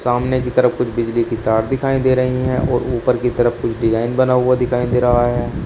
सामने की तरफ कुछ बिजली की तार दिखाई दे रही है और ऊपर की तरफ कुछ डिजाइन बना हुआ दिखाई दे रहा है।